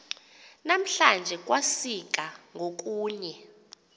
namhlanje kwasika ngokunye